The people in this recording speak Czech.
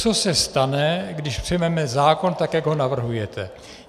Co se stane, když přijmeme zákon tak, jak ho navrhujete?